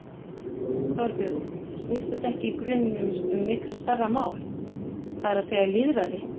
Þorbjörn: Snýst þetta ekki í grunninn um miklu stærra mál, það er að segja lýðræði?